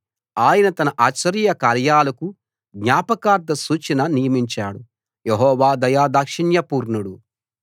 ఆయన తన ఆశ్చర్యకార్యాలకు జ్ఞాపకార్థ సూచన నియమించాడు యెహోవా దయాదాక్షిణ్యపూర్ణుడు